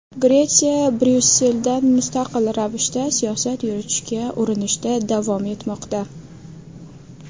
Gretsiya Bryusseldan mustaqil ravishda siyosat yuritishga urinishda davom etmoqda.